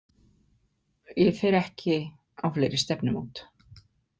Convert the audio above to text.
Ég fer ekki á fleiri stefnumót.